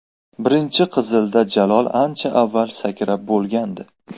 Birinchi qizilda Jalol ancha avval sakrab bo‘lgandi.